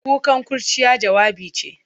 Kukan kurciya, jawabi ce.